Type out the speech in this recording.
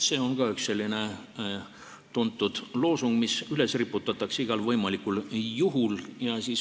See on ka üks selline tuntud loosung, mis igal võimalikul juhul üles riputatakse.